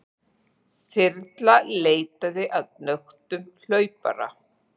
Þyrla leitaði að nöktum hlaupara